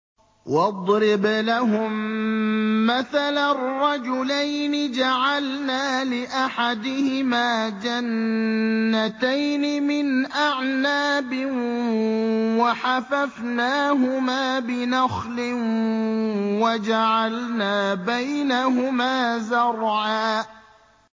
۞ وَاضْرِبْ لَهُم مَّثَلًا رَّجُلَيْنِ جَعَلْنَا لِأَحَدِهِمَا جَنَّتَيْنِ مِنْ أَعْنَابٍ وَحَفَفْنَاهُمَا بِنَخْلٍ وَجَعَلْنَا بَيْنَهُمَا زَرْعًا